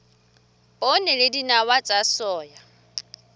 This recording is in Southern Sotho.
poone le dinawa tsa soya